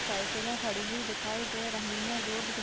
साइकिलें खड़ी हुई दिखाई दे रही हैं रोड दिख --